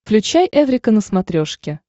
включай эврика на смотрешке